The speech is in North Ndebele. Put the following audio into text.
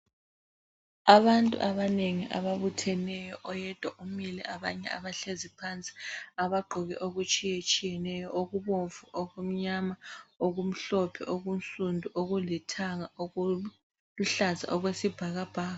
Abantu abanengi ababutheneyo, oyedwa umile abanye abahlezi phansi abagqoke okutshiyetshiyeneyo okubomvu, okumnyama, okumhlophe, okunsundu, okulithanga ,okuluhlaza okwesibhakabhaka